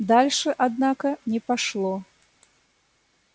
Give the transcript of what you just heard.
дальше однако не пошло